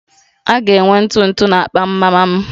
A ga-enwe ntụ ntụ na akpa mama m